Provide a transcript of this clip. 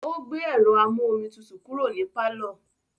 Ó gbé ẹ̀rọ amú-omi tutù kúrò ní pálọ̀.